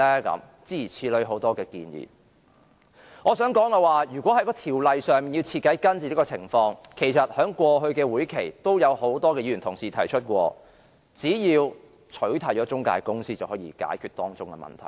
我想說的是，如果要在條例上徹底根治這種情況，其實在過去的會議上也有多位議員曾提出，只要取締中介公司便可解決當中的問題。